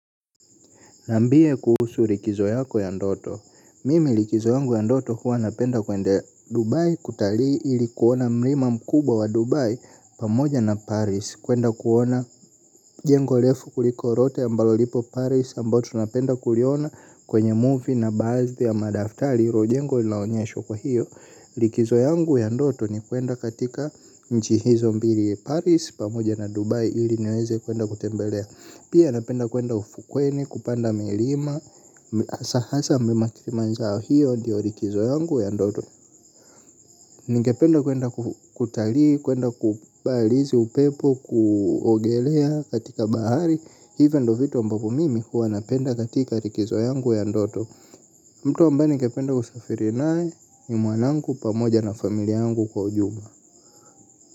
Niambie kuhusu likizo yako ya ndoto, mimi likizo yangu ya ndoto huwa napenda kwenda Dubai kutalii ili kuona mlima mkubwa wa Dubai pamoja na Paris. Kwenda kuona jengo refu kuliko lote ambalo lipo Paris ambao tunapenda kuliona kwenye movie na baadhi ya madaftari hilo jengo linaonyeshwa kwa hiyo likizo yangu ya ndoto ni kwenda katika nchi hizo mbili Paris pamoja na Dubai ili niweze kwenda kutembelea. Pia napenda kwenda ufukweni kupanda milima hasa hasa mlima kilimanjaro, hiyo ndiyo likizo yangu ya ndoto. Ningependa kwenda kutalii, kwenda kubarizi upepo, kuogelea katika bahari. Hivo ndo vitu ambapo mimi huwa napenda katika likizo yangu ya ndoto. Mtu ambaye ningependa kusafiri naye ni mwanangu pamoja na familia yangu kwa ujumla.